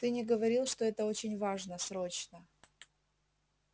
ты не говорил что это очень важно срочно